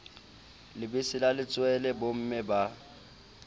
lebese la letswele bomme ba